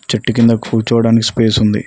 చెట్టు కింద కూర్చోవడానికి స్పేస్ ఉంది.